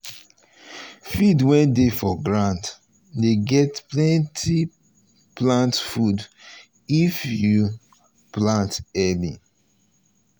field wey dey for ground dey get plenty plant food if you food if you plant early.